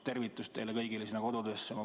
Tervitus teile kõigile sinna kodudesse!